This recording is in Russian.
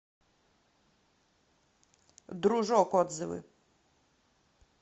дружок отзывы